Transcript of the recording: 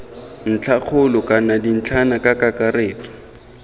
ntlhakgolo gongwe dintlhana ka kakaretso